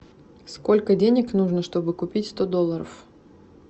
сколько денег нужно чтобы купить сто долларов